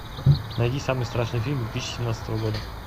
найди самый страшный фильм две тысячи семнадцатого года